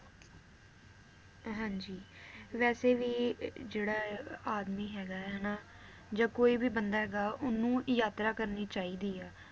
ਹਾਂਜੀ ਵੈਸੇ ਵੀ ਅਹ ਜਿਹੜਾ ਆਦਮੀ ਹੈਗਾ ਏ ਹਨਾ ਜਾਂ ਕੋਈ ਵੀ ਬੰਦਾ ਹੈਗਾ ਓਹਨੂੰ ਯਾਤਰਾ ਕਰਨੀ ਚਾਹੀਦੀ ਆ